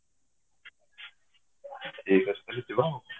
ଠିକ ଅଛି ତାହାଲେ ଯିବା ଆଉ